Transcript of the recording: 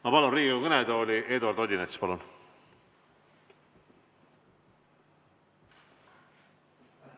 Ma palun Riigikogu kõnetooli Eduard Odinetsi!